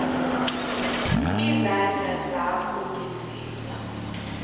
izandla zakho ngesibha